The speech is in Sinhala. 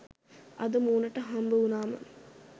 අද මූණට හම්බවුණාම